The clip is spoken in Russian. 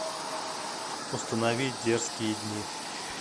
установи дерзкие дни